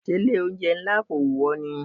Ṣé ilé oúnjẹ ńlá kò wù ọ ni?